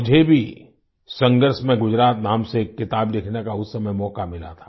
मुझे भी संघर्ष में गुजरात नाम से एक किताब लिखने का उस समय मौका मिला था